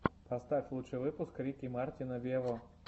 поставь лучший выпуск рики мартина вево